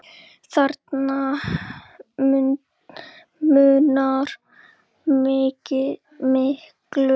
Þarna munar miklu.